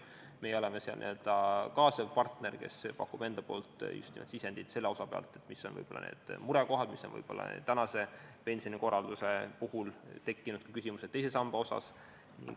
Meie oleme seal n-ö kaasav partner, kes pakub just nimelt sisendit selle osa kohta, mis on võib-olla need murekohad ja mis on pensionikorralduse puhul tekkinud küsimused teise samba kohta.